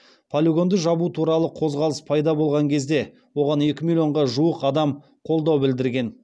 полигонды жабу туралы қозғалыс пайда болған кезде оған екі миллионға жуық адам қолдау білдірген